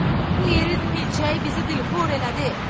Bu yerin milçəyi bizi dilxor elədi.